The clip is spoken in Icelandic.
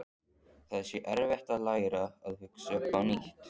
Það sé erfitt að læra að hugsa upp á nýtt.